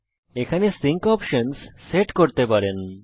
এখানে আপনি আপনার সিঙ্ক অপশনস সেট করতে পারেন